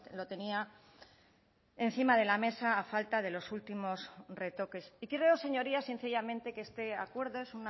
lo tenía encima de la mesa a falta de los últimos retoques y creo señorías sencillamente que este acuerdo es